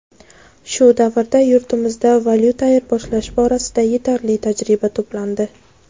Shu davrda yurtimizda valyuta ayirboshlash borasida yetarli tajriba to‘plandi.